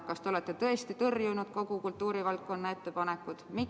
Kas te olete tõesti tõrjunud kogu kultuurivaldkonna ettepanekud?